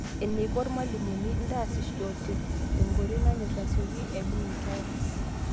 Eneikoirmalimuni: ntaasishote tenkoitoi nanyor nasioki aibung' inkera.